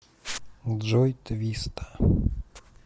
джой твиста